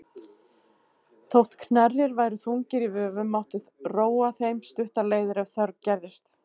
Þótt knerrir væru þungir í vöfum mátti róa þeim stuttar leiðir ef þörf gerðist.